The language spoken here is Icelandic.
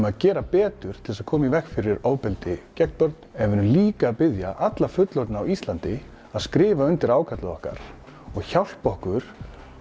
að gera betur til þess að koma í veg fyrir ofbeldi gegn börnum en við erum líka að biðja alla fullorðna á Íslandi að skrifa undir ákallið okkar og hjálpi okkur